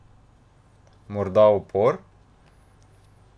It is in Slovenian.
Morda upor?